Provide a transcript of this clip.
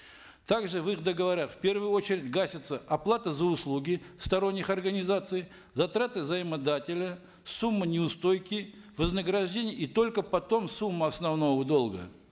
также в их договорах в первую очередь гасится оплата за услуги сторонних организаций затраты заимодателя сумма неустойки вознаграждение и только потом сумма основного долга